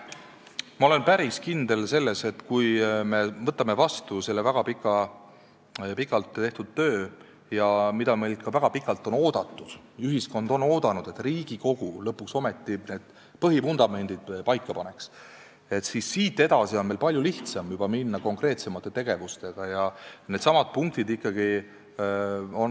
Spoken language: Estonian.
Ma olen päris kindel, et kui me võtame vastu selle väga pikalt tehtud töö, mida meilt on ka väga pikalt oodatud, ühiskond on oodanud, et Riigikogu lõpuks ometi need vundamendid paika paneks, edasi on konkreetsemate tegevustega palju lihtsam minna.